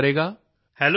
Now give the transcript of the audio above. ਕੌਣ ਗੱਲ ਕਰੇਗਾ